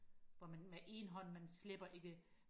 hvor man med en hånd man slæber ikke